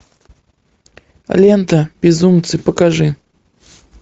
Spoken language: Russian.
лента безумцы покажи